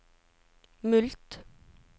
mulkt